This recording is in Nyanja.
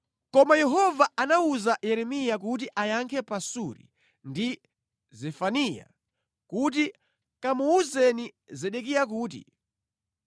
Koma Yehova anawuza Yeremiya kuti ayankhe Pasuri ndi Zefaniya kuti, “Kamuwuzeni Zedekiya kuti,